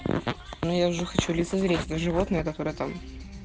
ну я уже хочу лицезреть это животное которое там